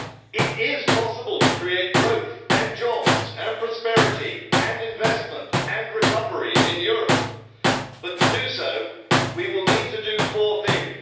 It is possible to create growth and jobs and prosperity and investment and recovery in Europe but, to do so, we will need to do four things.